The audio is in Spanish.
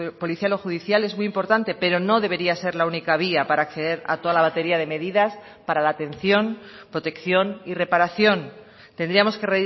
policial o judicial es muy importante pero no debería ser la única vía para acceder a toda la batería de medidas para la atención protección y reparación tendríamos que